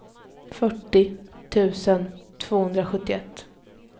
fyrtiosju tusen tvåhundrasjuttioett